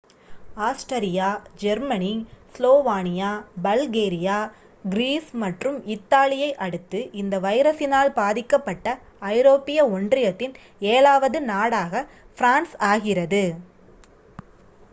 Austria Germany Slovenia Bulgaria Greece மற்றும் இத்தாலியை அடுத்து இந்த வைரசினால் பாதிக்கப்பட்ட ஐரோப்பிய ஒன்றியத்தின் ஏழாவது நாடாக ஃபிரான்ஸ் ஆகிறது